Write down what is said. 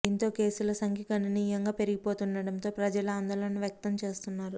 దీంతో కేసుల సంఖ్య గణనీయంగా పెరిగిపోతుండడంతో ప్రజలు ఆందోళన వ్యక్తం చేస్తున్నారు